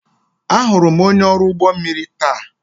Ahụrụ m onye ọrụ ụgbọ mmiri taa.